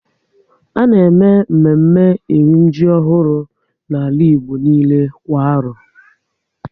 A na eme mme mme e ri ji ọhụrụ n'ala Igbo niile kwa arọ